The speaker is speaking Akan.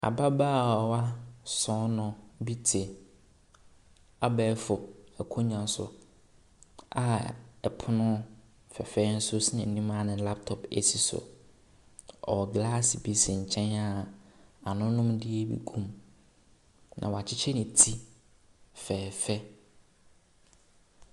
Ababaawa bi te abɛɛfo akonnwa ɛso a pono fɛɛfɛ nso asi n’anim a ne laptop asi so. Ɔwɔ glass bi asi nkyɛn a anonomdeɛ bi agu mu, na wɔakyekye ne ti fɛɛfɛ.